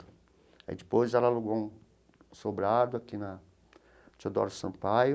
Aí depois ela alugou um sobrado aqui na Teodoro Sampaio.